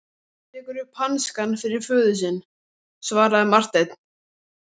Hann tekur upp hanskann fyrir föður sinn, svaraði Marteinn.